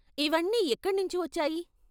ఇవన్నీ ఎక్కణ్ణించి వొచ్చాయి.